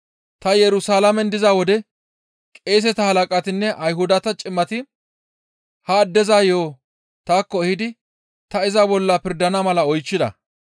Ta Yerusalaamen diza wode qeeseta halaqatinne Ayhudata cimati ha addeza yo7o taakko ehidi ta iza bolla pirdana mala oychchida.